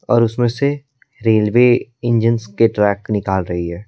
और उसमें से रेलवे इंजन्स के ट्रैक निकाल रही है।